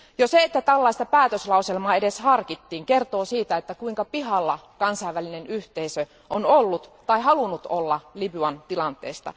Jo se, että tällaista päätöslauselmaa edes harkittiin, kertoo siitä, kuinka pihalla kansainvälinen yhteisö on ollut tai halunnut olla Libyan tilanteesta.